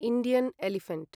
Indian elephant